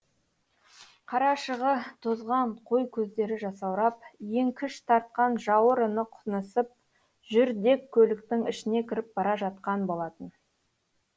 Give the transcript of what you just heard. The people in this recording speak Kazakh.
қарашығы тозған қой көздері жасаурап еңкіш тартқан жауырыны құнысып жүрдек көліктің ішіне кіріп бара жатқан болатын